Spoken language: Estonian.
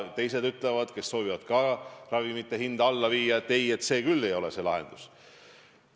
Teised, kes soovivad ka ravimite hinda alla viia, ütlevad, et ei, see küll ei ole õige lahendus.